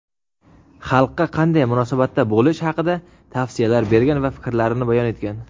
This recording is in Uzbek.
xalqqa qanday munosabatda bo‘lish haqida tavsiyalar bergan va fikrlarini bayon etgan.